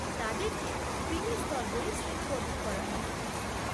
তাদেরকে ক্রিমি স্তর বলে শ্রেণীবদ্ধ করা হয়।